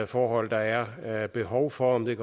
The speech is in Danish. forhold der er er behov for om det